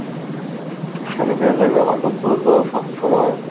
Sanitizer ব্যবহার করতে হতো সবসময়।